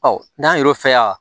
n'an yɛrɛ fɛ yan